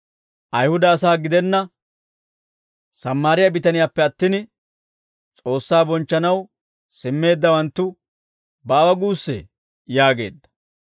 Ayihuda asaa gidenna Sammaariyaa bitaniyaappe attin, S'oossaa bonchchanaw simmeeddawanttu baawa guussee?» yaageedda.